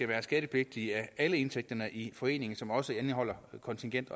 være skattepligtige af alle indtægterne i foreningen som også indeholder kontingent